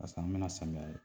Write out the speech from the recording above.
Paseke an bɛna na samiya la